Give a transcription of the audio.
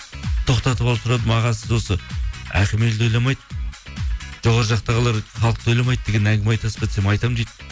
тоқтатып алып сұрадым аға сіз осы әкім елді ойламайды жоғары жақтағылар халықты ойламайды деген әңгіме айтасыз ба десем айтамын дейді